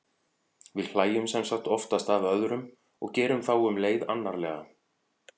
við hlæjum sem sagt oftast að öðrum og gerum þá um leið annarlega